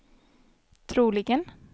troligen